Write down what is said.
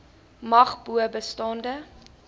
mag bo bestaande